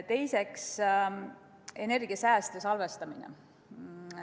Teiseks, energia sääst ja salvestamine.